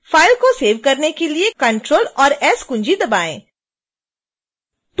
file को save करने के लिए ctrl और s कुंजी दबाएँ